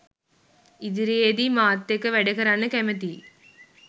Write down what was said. ඉදිරියේදී මාත් එක්ක වැඩ කරන්න කැමතියි